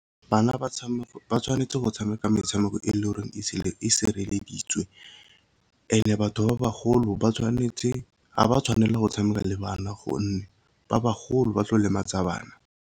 Bana ba tshwanetse go tshameka metshameko e le goreng e sireleditswe, and-e batho ba bagolo ga ba tshwanela go tshameka le bana gonne ba bagolo ba tlo lematsa bana.